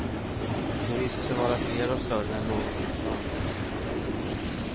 De visar sig vara fler och större än någon kunnat ana.